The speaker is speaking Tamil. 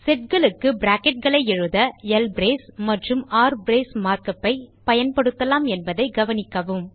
setகளுக்கு bracketகளை எழுத ல்ப்ரேஸ் மற்றும் ரிப்ரேஸ் மார்க் உப் ஐ பயன்படுத்தலாம் என்பதை கவனிக்கவும்